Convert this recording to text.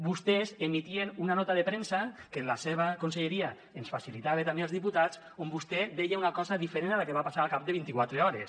vostès emetien una nota de premsa que la seva conselleria ens facilitava també als diputats on vostè deia una cosa diferent a la que va passar al cap de vint quatre hores